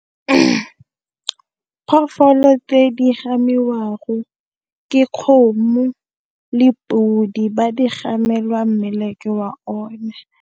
Phofolo tse di gamiwang go ke kgomo le podi ba di gamela mmeleke wa o ne.